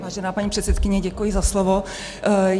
Vážená paní předsedkyně, děkuji za slovo.